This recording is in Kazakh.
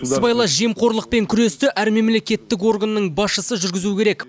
сыбайлас жемқорлықпен күресті әр мемлекеттік органның басшысы жүргізуі керек